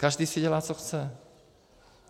Každý si dělá, co chce.